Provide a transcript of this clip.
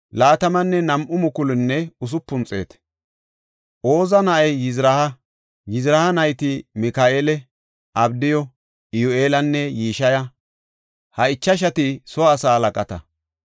Oza na7ay Yizraaha. Yizraaha nayti Mika7eela, Abdiyu, Iyyu7eelanne Yishiya; ha ichashati soo asaa halaqata.